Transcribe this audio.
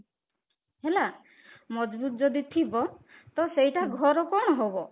ହେଲା ମଜବୁତ ଯଦି ଥିବ ତ ସେଇଟା ଘର କଣ ହବ